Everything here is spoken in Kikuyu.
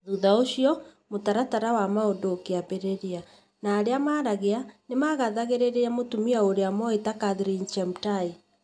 Thutha ũcio, mũtaratara wa maũndu ũkĩambĩrĩria, na arĩa maaragia nĩ makathagĩrĩria mũtumia ũrĩa moĩ ta Caroline Jemutai.